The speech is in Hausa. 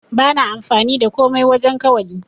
Bana amfani da komai wajen kawali.